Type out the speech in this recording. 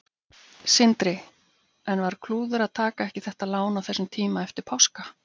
Sindri: En var klúður að taka ekki þetta lán á þessum tíma eftir páska?